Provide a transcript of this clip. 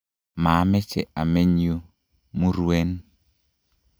maameche ameny yu, muruen